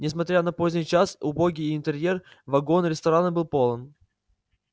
несмотря на поздний час и убогий интерьер вагон-ресторана был полон